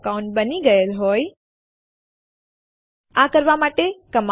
આપણે L S homeanirbantestdir લખીશું અને Enter દબાવીશું